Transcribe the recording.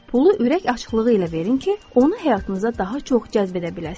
Pulu ürək açıqlığı ilə verin ki, onu həyatınıza daha çox cəzb edə biləsiniz.